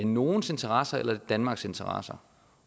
nogles interesser eller er det danmarks interesser